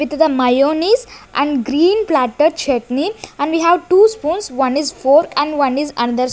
with the mayonnaise and green platter chutney and we have two spoons one is fork and one is --